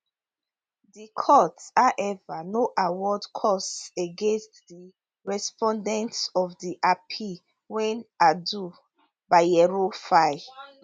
di court however no award costs against di respondents of di appeal wey ado bayero file